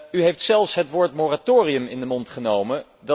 U heeft zelfs het woord moratorium in de mond genomen.